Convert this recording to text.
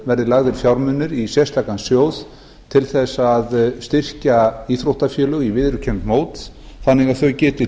verði lagðir fjármunir í sérstakan sjóð til þess að styrkja íþróttafélög á viðurkennd mót þannig að þau geti